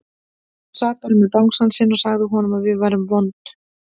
Hún sat bara með bangsann sinn og sagði honum að við værum vond.